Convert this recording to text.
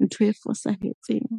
ntho e fosahetseng.